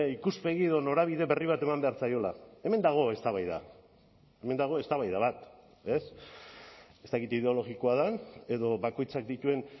ikuspegi edo norabide berri bat eman behar zaiola hemen dago eztabaida hemen dago eztabaida bat ez ez dakit ideologikoa den edo bakoitzak dituen